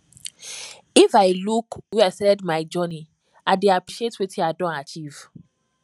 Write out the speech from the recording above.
if i look where i started my journey i dey appreciate wetin i don achieve